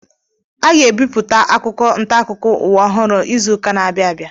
Aga ebipụta akwụkwọ ntaakụkọ ụwa ọhụrụ ịzụ ụka na-abianu